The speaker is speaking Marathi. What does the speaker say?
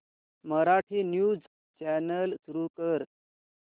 मराठी न्यूज चॅनल सुरू कर